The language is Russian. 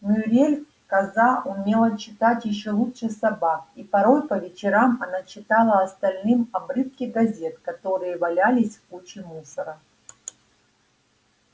мюриель коза умела читать ещё лучше собак и порой по вечерам она читала остальным обрывки газет которые валялись в куче мусора